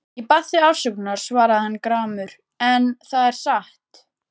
Ég bað þig afsökunar, svaraði hann gramur,-en það er satt.